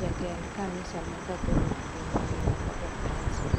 Jatend kanisa ma katholic piny ngima Papa Friancis